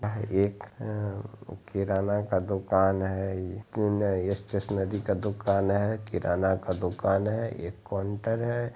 यह एक किरान का दुकान है स्टैशनेरी का दुकान है किरान का दुकान है एक कॉनटर है।